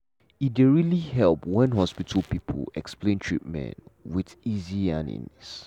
e dey really help when hospital people explain treatment with easy yarnings